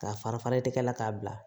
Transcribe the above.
K'a fara farali tɛgɛ la k'a bila